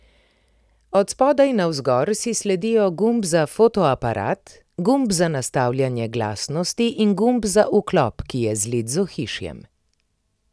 Od spodaj navzgor si sledijo gumb za fotoaparat, gumb za nastavljanje glasnosti in gumb za vklop, ki je zlit z ohišjem.